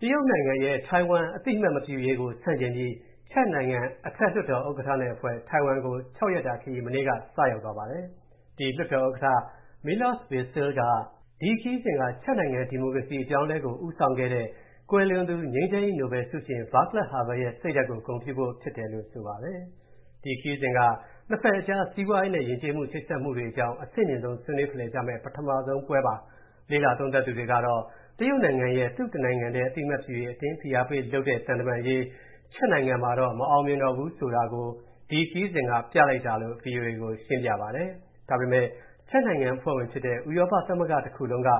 တရုတ်နိုင်ငံရဲ့ ထိုင်ဝမ်အသိအမှတ်မပြုရေးကို ဆန့်ကျင်ပြီး ချက်နိုင်ငံ အထက်လွှတ်တော်ဥက္ကဋ္ဌအဖွဲ့ ထိုင်ဝမ်ကို ၆ ရက်တာခရီး မနေ့က စရောက်သွားပါတယ်။ ဒီ လွှတ်တော်ဥက္ကဋ္ဌ Milos Vystrcil က ဒီခရီးစဉ်က ချက်နိုင်ငံ ဒီမိုကရေစီ အပြောင်းအလဲကို ဦးဆောင်ခဲ့တဲ့ ကွယ်လွန်သူ ငြိမ်းချမ်းရေးနိုဘယ်လ်ဆုရှင် ဗားကလပ်ဟာဗယ်လ်ရဲ့ စိတ်ဓာတ်ကို ဂုဏ်ပြုဖို့ပါလို့ ဆိုပါတယ်။ ဒီခရီးစဉ်က နှစ်ဖက်အကြား စီးပွားရေးနဲ့ ယဉ်ကျေးမှု ချိတ်ဆက်မှုတွေအကြောင်း အဆင့်မြင့်ဆုံး ဆွေးနွေးဖလှယ်ကြမယ့် ပထမဆုံးပွဲပါ။ လေ့လာသုံးသပ်သူတွေကတော့ တရုတ်နိုင်ငံရဲ့ သူ့တနိုင်ငံတည်း အသိအမှတ်ပြုရေး အတင်းဖိအားပေးလုပ်တဲ့ သံတမန်ရေး ချက်နိုင်ငံမှာ မအောင်မြင်တော့တာကို ဒီခရီးစဉ်က ပြလိုက်တာလို့ ဗွီအိုအေကို ရှင်းပြပါတယ်။ ဒါပေမယ့် ချက်နိုင်ငံ အဖွဲ့ဝင်ဖြစ်တဲ့ ဥရောပသမဂ္ဂ တခုလုံးက